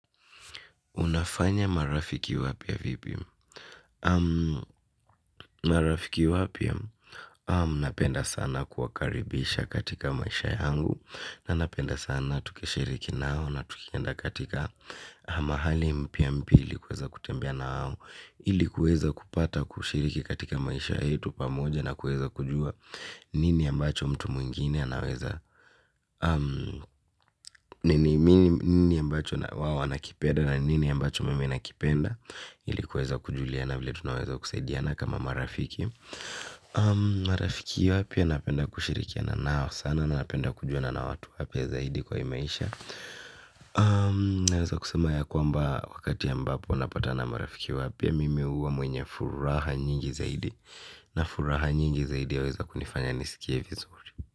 Unafanya marafiki wapya vipi? Marafiki wapyaa? Napenda sana kuwa karibisha katika maisha yangu. Na napenda sana tukishiriki nao na tukienda katika mahali mpya mpya ili kuweza kutembea nao. Ili kuweza kupata kushiriki katika maisha yetu pamoja na kuweza kujua nini ambacho mtu mwingine anaweza. Nini ambacho na wao wanakipenda na nini ambacho mimi na kipenda. Ili kuweza kujuliana vile tunaweza kusaidiana kama marafiki. Marafiki wapya napenda kushirikiana nao sana. Nanapenda kujuana na watu wapya zaidi kwa hii maisha. Naweza kusema ya kwamba wakati ambapo napata na marafiki wapya mimi huwa mwenye furaha nyingi zaidi na furaha nyingi zaidi yaweza kunifanya nisikie vizuri.